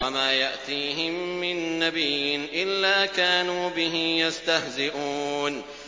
وَمَا يَأْتِيهِم مِّن نَّبِيٍّ إِلَّا كَانُوا بِهِ يَسْتَهْزِئُونَ